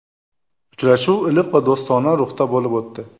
Uchrashuv iliq va do‘stona ruhda bo‘lib o‘tdi.